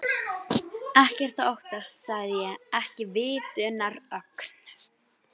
Ekkert að óttast sagði ég, ekki vitundarögn